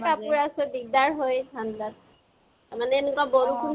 কাপোৰ আছে, দিক্দাৰ হয় ঠাণ্ডাত। মানে এনেকোৱা বৰষুণ পৰিলে